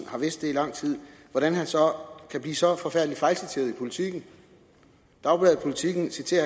har vidst det i lang tid så kan blive så forfærdelig fejlciteret i politiken dagbladet politiken citerer